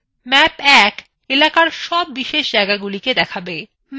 map ১ এলাকাযর সব বিশেষ জায়গাগুলি দেখাবে